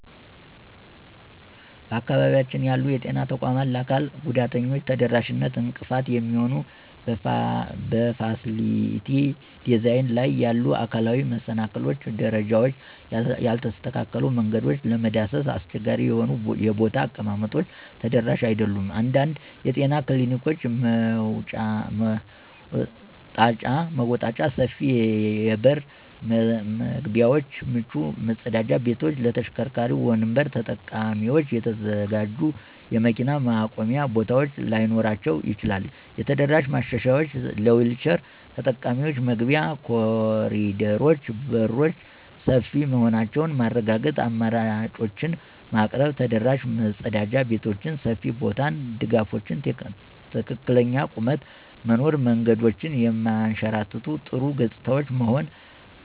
በአካባቢያችን ያሉ የጤና ተቋማት ለአካል ጉዳተኞች ተደራሽነት እንቅፋት የሚሆኑ በፋሲሊቲ ዲዛይን ላይ ያሉ አካላዊ መሰናክሎች - ደረጃዎች፣ ያልተስተካከሉ መንገዶች፣ ለመዳሰስ አስቸጋሪ የሆኑ የቦታ አቀማመጦች ተደራሽ አይደሉም። አንዳንድ የጤና ክሊኒኮች መወጣጫ፣ ሰፊ የበር መግቢያዎች፣ ምቹ መጸዳጃ ቤቶች ለተሽከርካሪ ወንበር ተጠቃሚዎች የተዘጋጁ የመኪና ማቆሚያ ቦታዎች ላይኖራቸው ይችላል። የተደራሽ ማሻሻያዎች - ለዊልቸር ተጠቃሚዎች መግቢያ፣ ኮሪደሮች፣ በሮች ሰፊ መሆናቸውን ማረጋገጥ፣ አማራጮችን ማቅረብ። ተደራሽ መጸዳጃ ቤቶች (ሰፊ ቦታ፣ ድጋፎች፣ ትክክለኛ ቁመት) መኖር። መንገዶች የማያንሸራትቱ፣ ጥሩ ገጽታዎች